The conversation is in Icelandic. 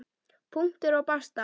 Punktur og basta!